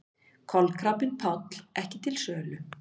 Kolkrabbinn Páll ekki til sölu